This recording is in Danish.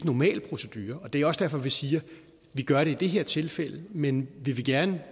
normal procedure det er også derfor vi siger vi gør det i det her tilfælde men vi vil gerne